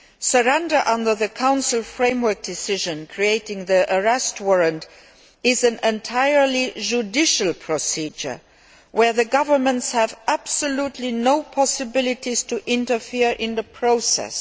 Surrender under the Council Framework Decision creating the European Arrest Warrant is an entirely judicial procedure where the governments have absolutely no possibility of interfering in the process.